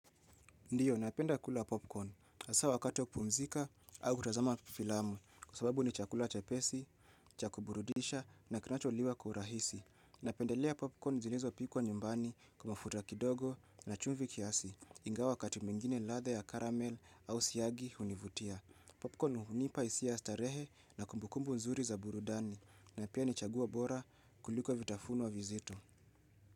Ndio, napenda kula popcorn. Hasa wakati wa kupumzika au kutazama filamu. Kwa sababu ni chakula chepesi, cha kuburudisha na kinacholiwa kwa urahisi. Napendelea popcorn zilizopikwa nyumbani kwa mafuta kidogo na chumvi kiasi. Ingawa wakati mwingine ladha ya karamel au siagi hunivutia. Popcorn hunipa hisia ya starehe na kumbukumbu nzuri za burudani. Na pia ni chaguo bora kuliko vitafuno vizito.